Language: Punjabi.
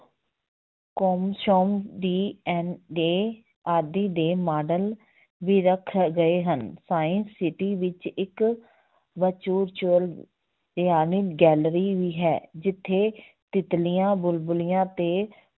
ਆਦਿ ਦੇ ਮਾਡਲ ਵੀ ਰੱਖੇ ਗਏ ਹਨ science city ਵਿੱਚ ਇੱਕ ਭਿਆਨਕ gallery ਵੀ ਹੈ, ਜਿੱਥੇ ਤਿੱਤਲੀਆਂ, ਬੁਲਬਲੀਆਂ ਤੇ